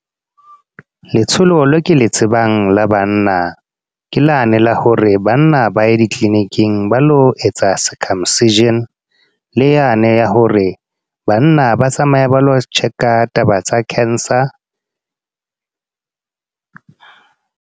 Letsholo le ke le tsebang la banna. Ke lane la hore banna ba ya di-clinic-ing, ba lo etsa circumcision. Le yane ya hore, banna ba tsamaya ba lo check-a taba tsa cancer.